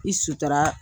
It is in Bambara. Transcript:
I sutura